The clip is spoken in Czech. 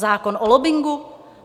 Zákon o lobbingu.